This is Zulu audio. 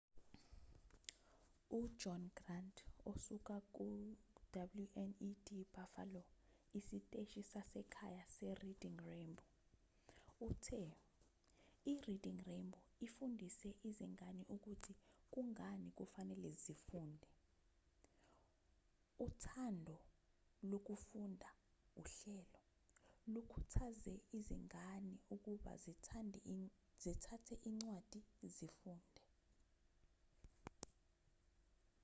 ujohn grant osuka kuyi-wned buffalo isiteshi sasekhaya sereading rainbow uthe ireading rainbow ifundise izingane ukuthi kungani kufanele zifunde, uthando lokufunda — [uhlelo] lukhuthaze izingane ukuba zithathe incwadi zifunde.